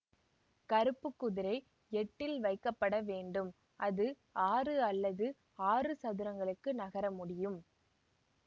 கருப்பு குதிரை எட்டில் வைக்கப்பட வேண்டும் அது ஆறு அல்லது ஆறு சதுரங்களுக்கு நகர முடியும்